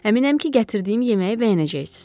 Əminəm ki, gətirdiyim yeməyi bəyənəcəksiz.